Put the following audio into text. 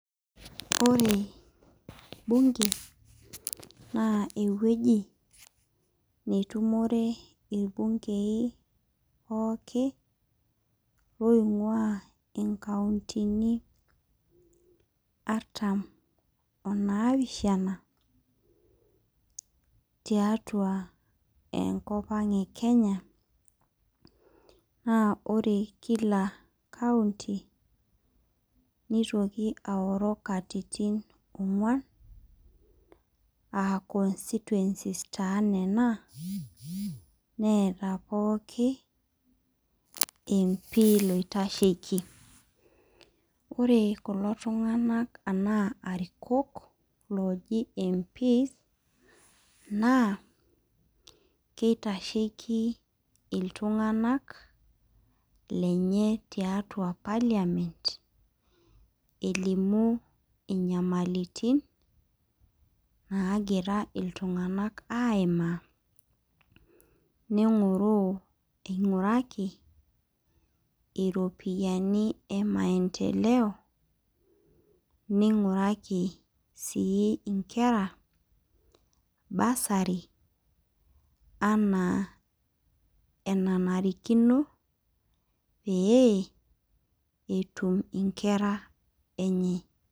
Ore ebunge naa eweji netumore olbungei pooki oinguaa enkauntini artam onaapishana tiatua enkopang ekenya, naa ore kila kaunti neitoki aoro inkatitin ongwan aa constituencies taa nena neeta pooki mpii loitasheki. Ore kulo tunganak anaa arikok looji mpiis naa keitasheki iltunganak lenye tiatua parliament elimu inyamaliritin naagira iltunganak aimaa, neing'oruu eing'uraki iropiyiani emaenteleo neing'uraki sii inkera basari anaa enanarikino pee etum inkera enyee.